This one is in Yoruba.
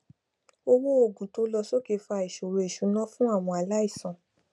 owó òògun tó n lọ sókè n fa ìṣòro ìṣúná fún àwọn aláìsàn